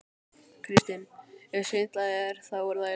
Kristinn: Ef svindlið er. þá er það í lagi?